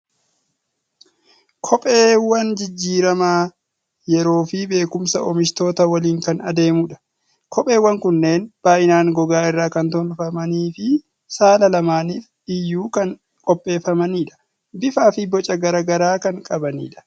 Kopheewwan jijjiirama yeroo fi beekumsa oomishtootaa waliin kan adeemudha. Kopheewwan kunneen baay'inaan gogaa irraa kan tolfamanii fi saala lamaaniif iyyuu kan qopheeffamanidha. Bifaa fi boca garaa garaa kan qabani dha.